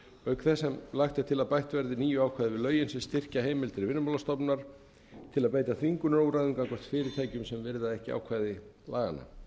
auk þess sem lagt er til að bætt verði nýju ákvæði við lögin sem styrkja heimildir vinnumálastofnunar til að beita þvingunarúrræðum gagnvart fyrirtækjum sem virða ekki ákvæði laganna